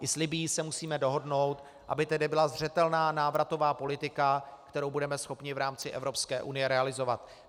I s Libyí se musíme dohodnout, aby tedy byla zřetelná návratová politika, kterou budeme schopni v rámci Evropské unie realizovat.